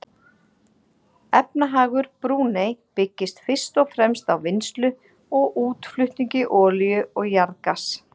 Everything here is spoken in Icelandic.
Efnahagur Brúnei byggist fyrst og fremst á vinnslu og útflutningi olíu og jarðgass.